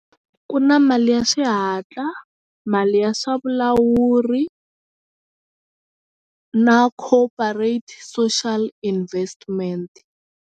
Ku na mali ya xihatla mali ya swa vulawuri na cooperate social investment.